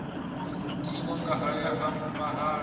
tiwa nga haya ha vhalala